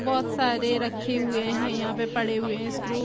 बहोत सारे रखे हुए है यहाँ पे पड़े हुए है स्क्रू --